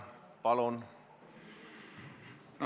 Palun!